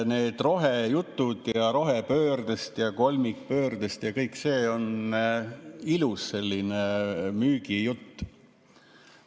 Need rohejutud rohepöördest ja kolmikpöördest – kõik see on selline ilus müügijutt.